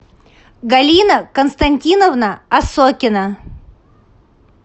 галина константиновна осокина